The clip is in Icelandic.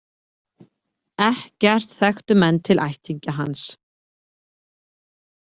Ekkert þekktu menn til ættingja hans.